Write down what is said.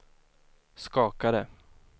skakade